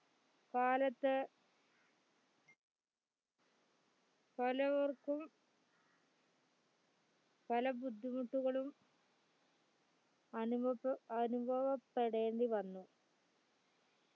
കാലത്ത് പലവർക്കും പല ബുദ്ധിമുട്ടുകളും അനുഭ അനുഭവപെടെണ്ടി വന്നു